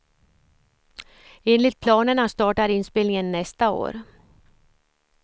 Enligt planerna startar inspelningen nästa år.